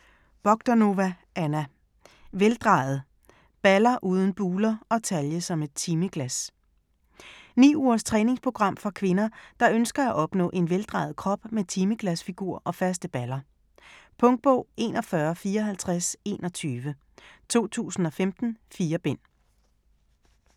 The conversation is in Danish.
Bogdanova, Anna: Veldrejet: balder uden buler & talje som et timeglas Ni ugers træningsprogram for kvinder, der ønsker at opnå en vejdrejet krop med timeglasfigur og faste baller. Punktbog 415421 2015. 4 bind.